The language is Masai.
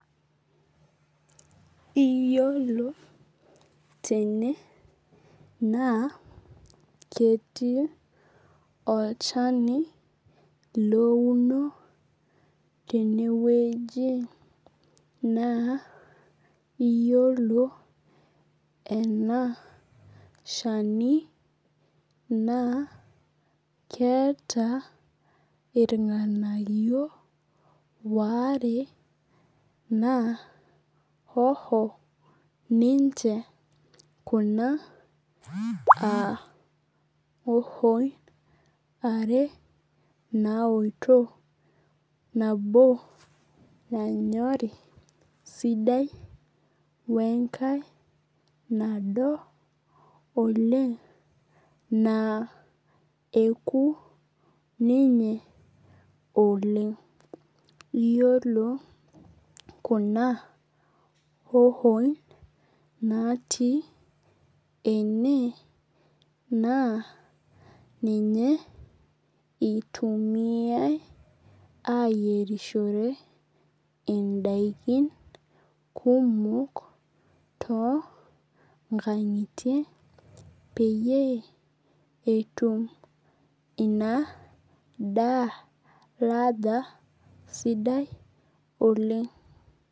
Iyiolo tena naa ketii olchana louno teneweji naa iyiolo ena shani naa keeta irng'anayio ware naa hoho ninche kuna aa hoho in are naoto nabo nanyorii sidai wee nkae nado oleng' naa eku ninye oleng'. Iyiolo kuna hohoin naati ene naa ninye itumiai eyarishore daikin kumok too nkang'itie peyie etum inaa daa ladha sidai oleng'.